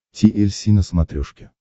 ти эль си на смотрешке